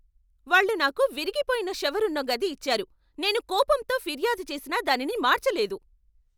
వాళ్ళు నాకు విరిగిపోయిన షవర్ ఉన్న గది ఇచ్చారు, నేను కోపంతో ఫిర్యాదు చేసినా దానిని మార్చలేదు.